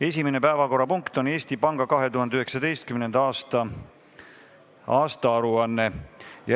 Esimene päevakorrapunkt on Eesti Panga 2019. aasta aruanne.